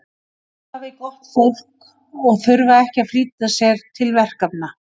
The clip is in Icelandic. að spjalla við gott fólk og þurfa ekki að flýta sér til verkefna